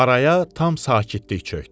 Araya tam sakitlik çökdü.